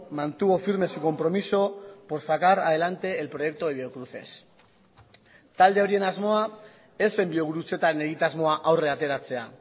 mantuvo firme su compromiso por sacar adelante el proyecto de biocruces talde horien asmoa ez zen biogurutzetan egitasmoa aurrera ateratzea